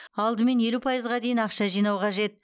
алдымен елу пайызға дейін ақша жинау қажет